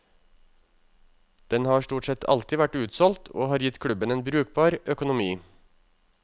Den har stort sett alltid vært utsolgt, og har gitt klubben en brukbar økonomi.